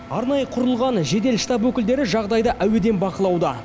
арнайы құрылған жедел штаб өкілдері жағдайды әуеден бақылауда